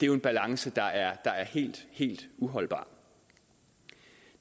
jo en balance der er helt helt uholdbar